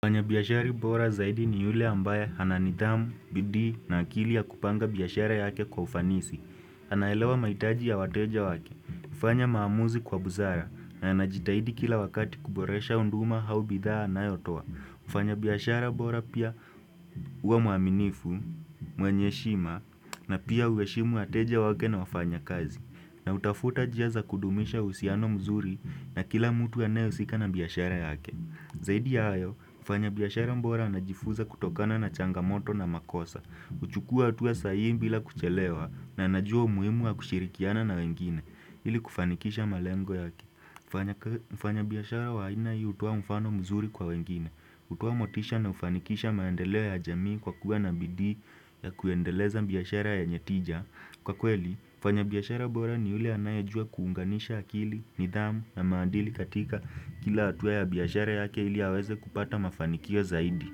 Mfanyabiashara bora zaidi ni yule ambaye ana nidhamu, bidii na akili ya kupanga biashara yake kwa ufanisi. Anaelewa mahitaji ya wateja wake, ufanya maamuzi kwa busara, na anajitahidi kila wakati kuboresha huduma au bidhaa anayotoa. Mfanyabiashara bora pia huwa mwaminifu, mwenye heshima, na pia hueshimu wateja wake na wafanyakazi. Na hutafuta njia za kudumisha uhusiano mzuri na kila mtu anyehusika na biashara yake. Zaidi ya hayo, mfanyabiashara bora anajifuza kutokana na changamoto na makosa huchukua hatua sahihi bila kuchelewa na anajua umuhimu wa kushirikiana na wengine ili kufanikisha malengo yake mfanyabiashara wa aina hii utoa mfano mzuri kwa wengine utoa motisha na hufanikisha maendeleo ya jamii kwa kuwa na bidhi ya kuendeleza biashara yenye tija Kwa kweli, mfanya biashara bora ni yule anayejua kuunganisha akili, nidhamu na maadili katika kila hatua ya biashara yake ili aweze kupata mafanikio zaidi.